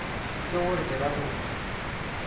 ke gore ke ra gore